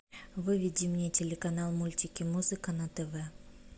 выведи мне телеканал мультики музыка на тв